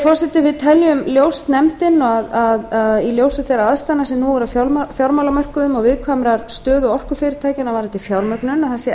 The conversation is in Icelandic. forseti nefndin telur ljóst að í ljósi þeirra aðstæðna sem nú eru á fjármálamörkuðum og viðkvæmrar stöðu orkufyrirtækjanna varðandi fjármögnun að það sé